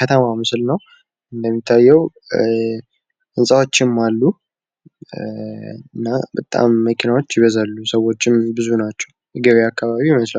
ከተማ ምስል ነው። እንደሚታየው ህንፃዎችም አሉ መኪናዎች ይበዛሉ። ሰዎችም አሉ። ገብያ አካባቢ ይመስላል።